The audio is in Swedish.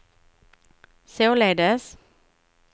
således